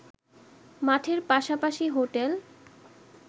মাঠের পাশাপাশি হোটেল